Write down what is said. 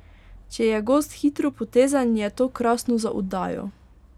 Če je gost hitropotezen, je to krasno za oddajo.